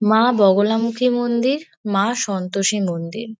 মা বগলামুখী মন্দির মা সন্তোষী মন্দির।